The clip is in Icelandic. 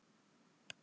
Hann át sig í hel.